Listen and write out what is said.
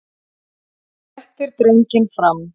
Hann réttir drenginn fram.